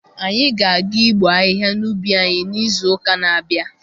Anyị ga-aga igbo ahịhịa n'ubi anyị n'izu ụka na-abịa